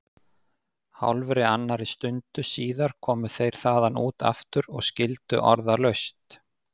Hálfri annarri stundu síðar komu þeir þaðan út aftur og skildu orðalaust.